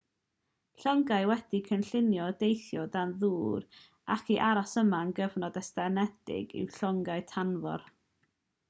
llongau wedi'u cynllunio i deithio o dan ddŵr ac i aros yno am gyfnod estynedig yw llongau tanfor